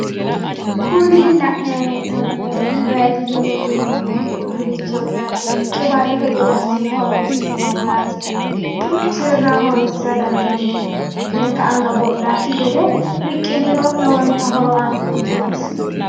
Kuni la'naayi hee'noommohu vanziliine yineemmo uduunnichooti yaate qiwaatete gede assine horonsi'neemmo yaate duuchurira horonsira dandiineemmo riqqiniro lekka anga bodhakki gede riqqiniro lowontay horo aannoreeti.